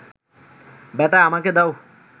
বেটা, আমাকে দাও